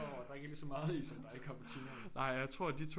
Over at der ikke er lige så meget i som der er i cappuccinoen